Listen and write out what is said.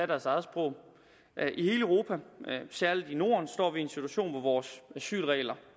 deres eget sprog i hele europa og særlig i norden står vi i en situation hvor vores asylregler